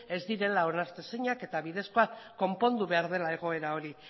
ez direla onartezinak eta bidezkoak konpondu behar dela egoera hori